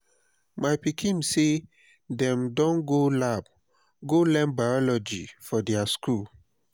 my pikin sey dem dey go lab go learn biology for their skool.